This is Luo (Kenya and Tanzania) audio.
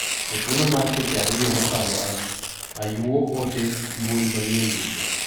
E thulo mar seche ariyo mokalo ayuo ote mbui manyien duto.